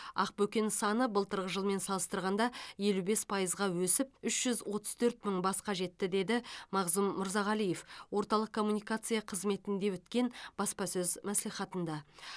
ақбөкен саны былтырғы жылмен салыстырғанда елу бес пайызға өсіп үш жүз отыз төрт мың басқа жетті деді мағзұм мырзағалиев орталық коммуникация қызметінде өткен баспасөз мәслихатында